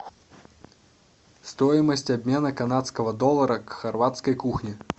стоимость обмена канадского доллара к хорватской кухне